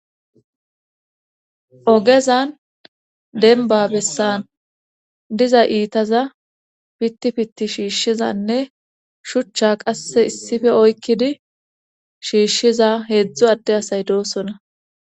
Ogezan denba bessan diza iitaza pitti pitti shiishshizanne shuchcha qasse issife oykkidi shiishshiza heedzdzu adde asay doosona